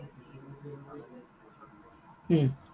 উম